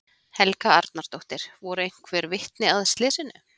Helga Arnardóttir: Voru einhver vitni að slysinu?